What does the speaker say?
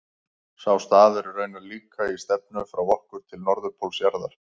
Sá staður er raunar líka í stefnu frá okkur til norðurpóls jarðar.